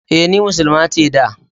E, ni Muslima ce da.